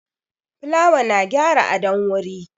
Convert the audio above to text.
Fulawa na gyara adon wuri